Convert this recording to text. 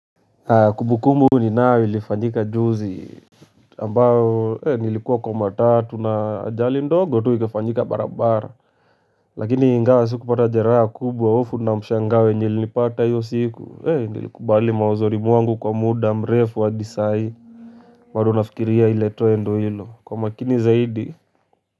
Kumbukumbu ni ninayo ilifanyika juzi. Ambayo Nilikuwa kwa matatu na ajali ndogo tu ikafanyika bara-bara. Lakini ingawa sikupata jeraha kubwa hofu na mshangao nilipata hio siku. Nilikubali mauzuri mwangu kwa muda mrefu hadi sahii. Bado nafikiria ile tendo ilo, kwa umakini zaidi.